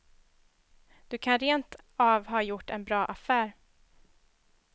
Du kan rent av ha gjort en bra affär.